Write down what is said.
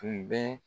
Tun bɛ